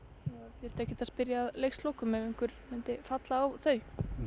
þyrfti ekkert að spyrja að leikslokum ef menn myndu falla á þau nei